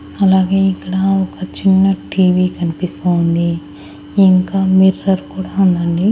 అలాగే ఇక్కడ ఒక చిన్న టీవీ కనిపిస్తా ఉంది ఇంకా మిర్రర్ కూడా ఉందండి.